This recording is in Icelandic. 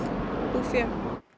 búfé